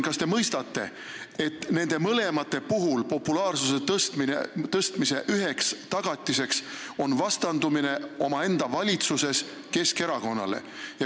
Kas te mõistate, et nende mõlema puhul on populaarsuse tõstmise üheks tagatiseks vastandumine omaenda valitsuses Keskerakonnale.